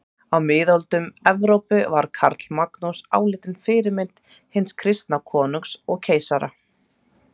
Á miðöldum Evrópu var Karlamagnús álitinn fyrirmynd hins kristna konungs og keisara.